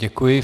Děkuji.